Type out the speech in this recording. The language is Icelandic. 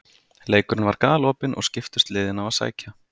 Leikurinn var galopinn og skiptust liðin á að sækja.